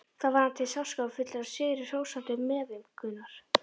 Þá fann hann til sársaukafullrar, sigrihrósandi meðaumkunar.